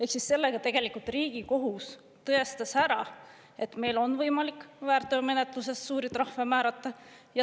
Ehk sellega tegelikult Riigikohus tõestas ära, et meil on võimalik väärteomenetluses suuri trahve määrata.